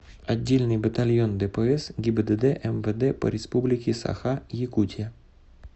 отдельный батальон дпс гибдд мвд по республике саха якутия